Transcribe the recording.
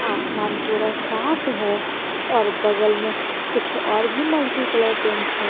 आसमान पूरा साफ है और बगल में कुछ और भी मल्टी कलर पेंट है।